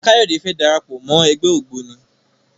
Kayode fè dára pọ Mọ ègbé ògbóni.